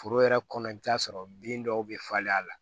Foro yɛrɛ kɔnɔ i bɛ t'a sɔrɔ bin dɔw bɛ falen a la